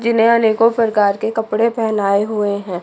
जिन्हें अनेको प्रकार के कपड़े पहनाये हुए हैं।